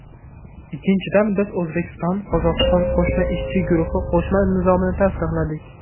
Ikkinchidan, biz O‘zbekistonQozog‘iston qo‘shma ishchi guruhi qo‘shma nizomini tasdiqladik.